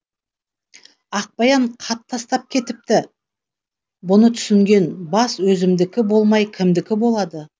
ақбаян хат тастап кетіпті бұны түсінген бас өзімдікі болмай кімдікі болады